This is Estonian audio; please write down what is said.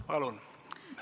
Palun!